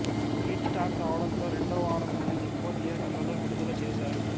hit talk రావడంతో రెండో వారం నుండీ ఎక్కువ థియేటర్లలో విడుదల చేశారు